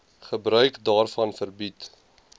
gebruik daarvan verbied